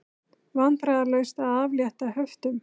Vandræðalaust að aflétta höftum